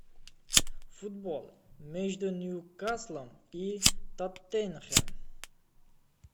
футбол между ньюкаслом и тоттенхэм